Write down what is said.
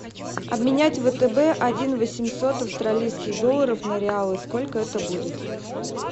обменять втб один восемьсот австралийских долларов на реалы сколько это будет